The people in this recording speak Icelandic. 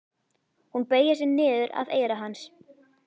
Hún beygir sig niður að eyra hans.